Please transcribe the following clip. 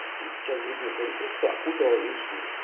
и сейчас грибница электричество окутала весе